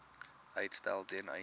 uitstel ten einde